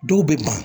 Dɔw bɛ ban